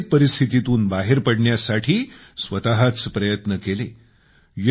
सगळ्या विपरित परिस्थितीतून बाहेर पडण्यासाठी स्वतःच प्रयत्न केले